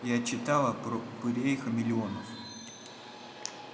я читала про упырей-хамелеонов